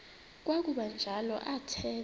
kwakuba njalo athetha